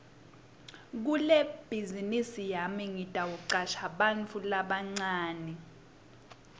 kulebhazinisi yami ngitawucasha bantfu labancane